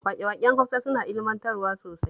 Waƙe-waƙen Hausa suna ilmantarwa sosai